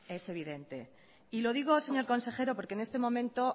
es evidente y lo digo señor consejero porque en este momento